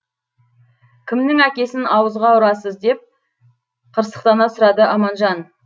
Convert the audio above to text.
кімнің әкесін ауызға ұрасыз деп қырсықтана сұрады аманжан